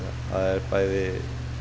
er bæði